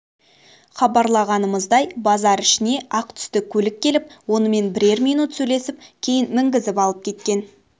хабарлағанымыздай базар ішіне ақ түсті көлік келіп онымен бірер минут сөйлесіп кейін мінгізіп алып кеткен